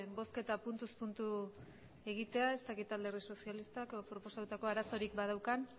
bozketa puntuz puntu egitea ez dakit alderdi sozialistak proposatutako arazorik badaukan